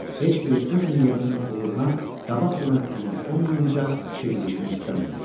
Heç biri öz niyyətinin uğuruna qabaqcadan əmin olmayınca işə girişmək istəmirdi.